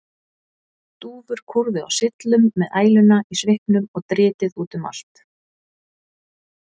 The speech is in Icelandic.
Dúfur kúrðu á syllum með æluna í svipnum og dritið út um allt.